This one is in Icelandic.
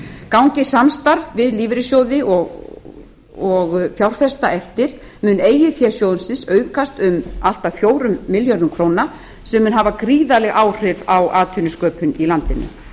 gangi samstarf við lífeyrissjóði og fjárfesta eftir mun eigið fé sjóðsins aukast um allt að fjórum milljörðum króna sem mun hafa gríðarleg áhrif á atvinnusköpun í landinu